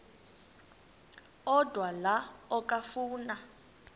odwa la okafuna